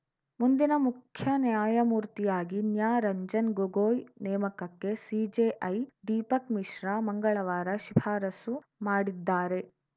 ಮುಂದಿನ ಮುಖ್ಯ ನ್ಯಾಯಮೂರ್ತಿಯಾಗಿ ನ್ಯಾರಂಜನ್‌ ಗೊಗೊಯ್‌ ನೇಮಕಕ್ಕೆ ಸಿಜೆಐ ದೀಪಕ್‌ ಮಿಶ್ರಾ ಮಂಗಳವಾರ ಶಿಫಾರಸು ಮಾಡಿದ್ದಾರೆ